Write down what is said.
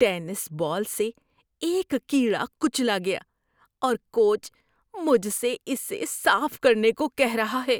Tennis ball سے ایک کیڑا کچلا گیا اور کوچ مجھ سے اسے صاف کرنے کو کہہ رہا ہے۔